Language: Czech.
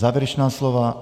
Závěrečná slova?